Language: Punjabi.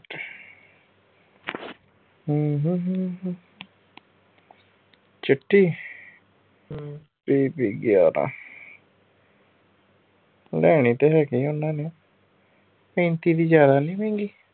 ਚਿੱਟੀ? pb ਗਿਆਰਾਂ। ਲੈਣੀ ਤੇ ਹੈਗੀ ਉਹਨਾਂ ਨੇ। ਪੈਂਤੀ ਦੀ ਜਿਆਦਾ ਨੀ ਮਹਿੰਗੀ?